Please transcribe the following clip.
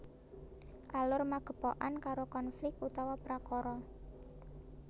Alur magepokan karo konflik utawa prakara